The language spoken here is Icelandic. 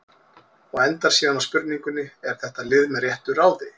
Og endar síðan á spurningunni: Er þetta lið með réttu ráði?